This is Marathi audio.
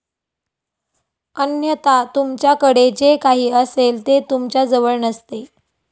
अन्यथा, तुमच्याकडे जे काही असेल ते तुमच्याजवळ नसते.